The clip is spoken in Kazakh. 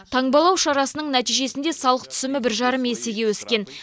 таңбалау шарасының нәтижесінде салық түсімі бір жарым есеге өскен